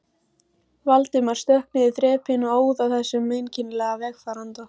Valdimar stökk niður þrepin og óð að þessum einkennilega vegfaranda.